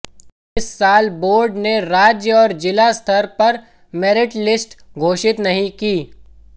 इस साल बोर्ड ने राज्य और जिला स्तर पर मेरिट लिस्ट घोषित नहीं की